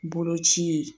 Boloci ye